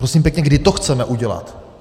Prosím pěkně, kdy to chceme udělat?